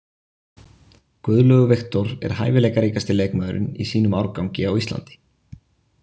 Guðlaugur Victor er hæfileikaríkasti leikmaðurinn í sínum árgangi á Íslandi.